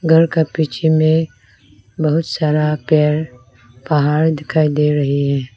घर के पीछे में बहुत सारा पेड़ पहाड़ दिखाई दे रही है।